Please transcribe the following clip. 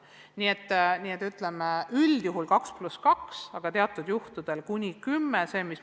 Nii et üldjuhul järgime 2 + 2 reeglit, aga teatud juhtudel lubame kuni kümneste rühmade moodustamise.